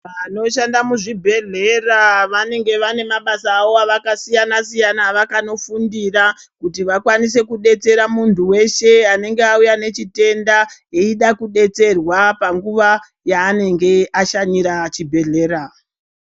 Vanoshanda muzvibhehlera vanenge vane mabasa avo akasiyana siyana a akatofundire kuti vakwanise kudetsera muntu weshe anenge auya nechitenda eida kudetserwa panguwa yaanenge ashanyira chibhehlera .